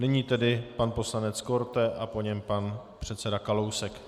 Nyní tedy pan poslanec Korte a po něm pan předseda Kalousek.